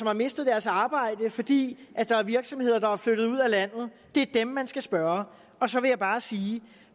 har mistet deres arbejde fordi der er virksomheder der er flyttet ud af landet det er dem man skal spørge og så vil jeg bare sige